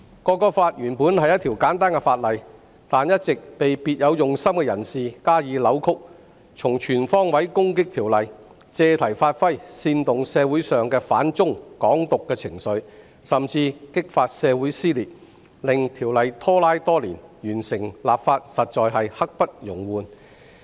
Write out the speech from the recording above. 《條例草案》原本是簡單的法例，但一直被別有用心的人士加以扭曲，從全方位攻擊《條例草案》，借題發揮，煽動社會上的反中和"港獨"情緒，甚至激發社會撕裂，令《條例草案》拖拉多年，完成立法實在刻不容緩。